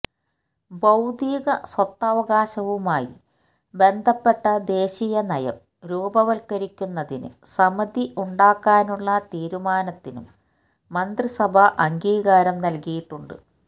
ബൌദ്ധിക സ്വത്തവകാശവുമായി ബന്ധപ്പെട്ട ദേശീയനയം രൂപവത്കരിക്കുന്നതിന് സമിതി ഉണ്ടാക്കാനുള്ള തീരുമാനത്തിനും മന്ത്രിസഭ അംഗീകാരം നല്കിയിട്ടുണ്ട്